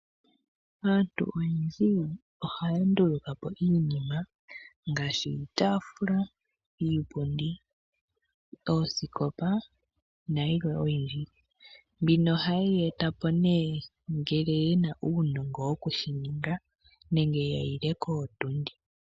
Aantu oyendji ohaya ndulukapo iinima ngaashi iitafula, iipundi, oosikopa nayilwe oyindji. Mbino ohayi yi etapo ne ngele yena uunongo woku shininga nenge yahile kootundi.